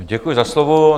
Děkuji za slovo.